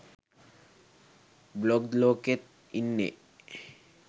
blog ලෝකෙත් ඉන්නෙ